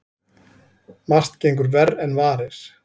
Margt gengur verr en varir.